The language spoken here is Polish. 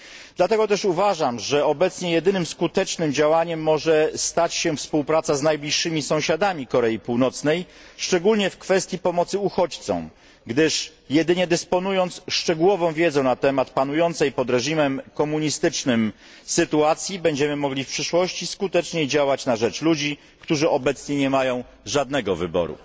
Dlatego też uważam, że obecnie jedynym skutecznym działaniem może stać się współpraca z najbliższymi sąsiadami Korei Północnej, szczególnie w kwestii pomocy uchodźcom, gdyż jedynie dysponując szczegółową wiedzą na temat panującej pod reżimem komunistycznym sytuacji, będziemy mogli w przyszłości skuteczniej działać na rzecz ludzi, którzy obecnie nie mają żadnego wyboru.